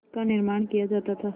का निर्माण किया जाता था